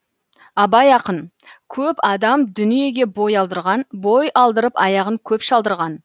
абай ақын көп адам дүниеге бой алдырған бой алдырып аяғын көп шалдырған